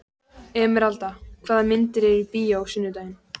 Emeralda, hvaða myndir eru í bíó á sunnudaginn?